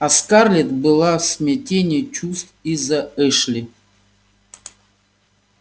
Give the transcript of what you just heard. а скарлетт была в смятении чувств из-за эшли